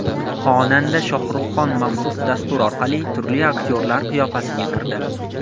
Xonanda Shohruhxon maxsus dastur orqali turli aktyorlar qiyofasiga kirdi.